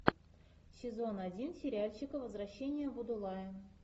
сезон один сериальчика возвращение будулая